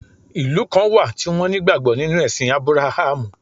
Ìlú kan wà tí won ní ìgbàgbó nínú èsìn Abrahamu